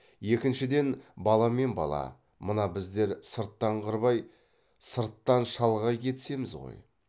екіншіден бала мен бала мына біздер сырттан қырбай сырттан шалғай кетісеміз ғой